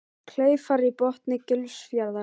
Kleifar í botni Gilsfjarðar.